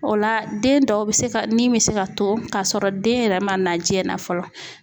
O la den dɔw bɛ se ka nin bɛ se ka to k'a sɔrɔ den yɛrɛ man na jiyɛn na fɔlɔ.